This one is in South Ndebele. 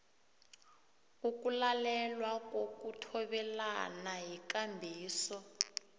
ukulalelwa kokuthobelana yikambiso